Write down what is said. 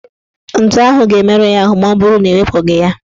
Ntu ahụ ga-emerụ ya ahụ maọbụrụ na ewepụghị ya.